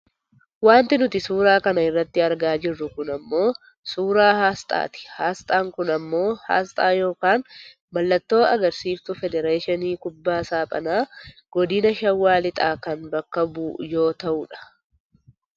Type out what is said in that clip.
Wanti nuti suuraa kana irratti argaa jirru kun ammoo suuraa aasxaati. Aasxaan kun ammoo aasxaa yookaan mallattoo agarsiiftuu federeeshinii kubbaa saaphanaa godina shawaa lixaa kan bakka bu'u yoo ta'u dh.